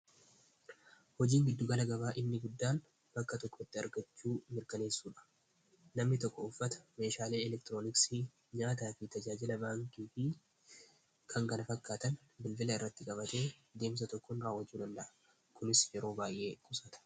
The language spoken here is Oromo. hojiin giddugala gabaa inni guddaan bakka tokko tti argachuu mirkaneessuudha namni tokko uffata meeshaalee elektirooniksii nyaata fi tajaajila vaankii fii kangana fakkaatan bilvila irratti qabate deemsa tokkon raawajuu danda'a kunis yeroo baay'ee kusaata